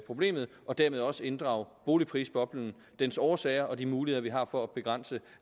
problemet og dermed også inddrage boligprisboblen dens årsager og de muligheder vi har for